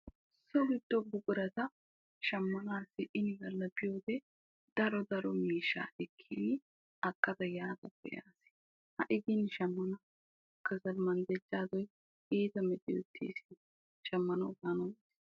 So giddo buqurata shammanasi inigala giyoge daro daro miishshaa ekkidi akka qa yaada beiyaga. Hagee gin shammanawu kasal manddajadoy iitta machcheyettees.